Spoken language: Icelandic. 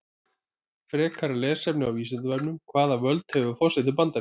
Frekara lesefni á Vísindavefnum: Hvaða völd hefur forseti Bandaríkjanna?